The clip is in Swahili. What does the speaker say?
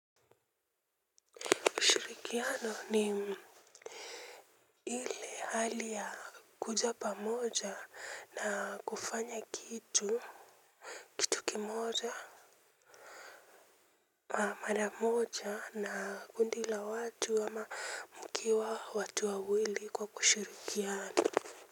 Ushirikiano ni ile hali ya kuja pamoja na kufanya kitu tuki moja ma maramoja na kundi la watu ama mkiwa watu wawili kwa kushirikiana.